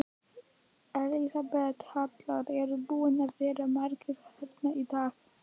Elísabet Hall: Eru búnir að vera margir hérna í dag?